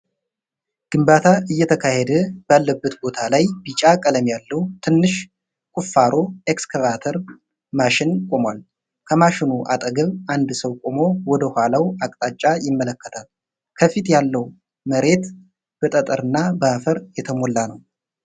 ግንባታ እየተካሄደ ባለበት ቦታ ላይ ቢጫ ቀለም ያለው ትንሽ ቁፋሮ ኤክስካቫተር ማሽን ቆሟል። ከማሽኑ አጠገብ አንድ ሰው ቆሞ ወደ ኋላው አቅጣጫ ይመለከታል። ከፊት ያለው መሬት በጠጠር እና በአፈር የተሞላ ነው።